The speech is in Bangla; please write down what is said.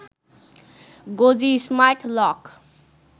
গোজি স্মার্ট লক